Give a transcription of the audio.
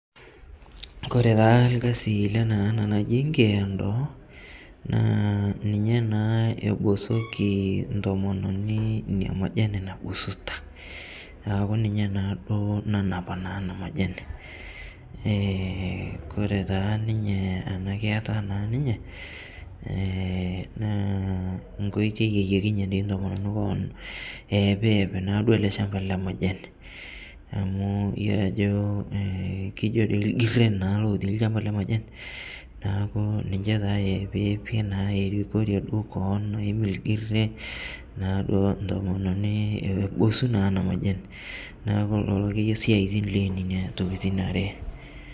Ore taa lkasi lena naji nkeondo ninye naa naa ninya naa epusoki ntomononi nena majani nabusuta. Neeeku ninye naduo naa nanap ena majani. Ore naa ena kaata ninye, naa nkoitoi naata paa eim ele shampa lemajani. Amu yiolo na ajo irkirian lotii naa lchampa lemajani, neeku ninche naa pee epiki erikore duo koon pee eubusu naa ntomononi ena majani. Neeku lelo akeyie siaitin loo nena tokiting are.